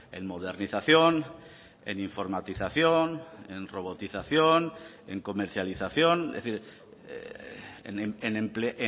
en modernización en informatización en robotización en comercialización es decir en empleo